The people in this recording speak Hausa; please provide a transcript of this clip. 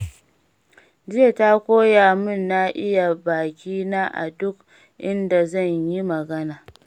Jiya ta koya mun na iya bakina a duk inda zan yi magana.